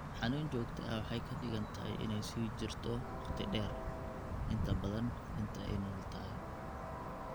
Xanun jogto ah waxa ay ka dhigan tahay in ay sii jirto waqti dheer, inta badan inta ay nool tahay.